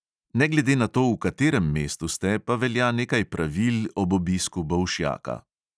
Ne glede na to, v katerem mestu ste, pa velja nekaj pravil ob obiska bolšjaka.